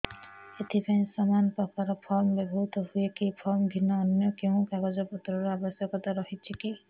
ଏଥିପାଇଁ ସମାନପ୍ରକାର ଫର୍ମ ବ୍ୟବହୃତ ହୂଏକି ଫର୍ମ ଭିନ୍ନ ଅନ୍ୟ କେଉଁ କାଗଜପତ୍ରର ଆବଶ୍ୟକତା ରହିଛିକି